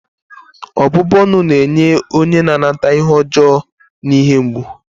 ọbụbụ ọnụ na-enye onye na-anata ihe ọjọọ na ihe mgbu